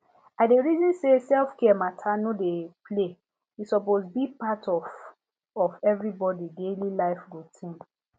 i dey reason say selfcare matter no be play e suppose be part of of everybody daily life routine